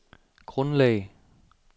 grundlag